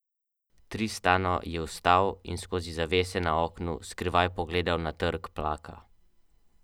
Pošta je spet normalno vročala pokojnine.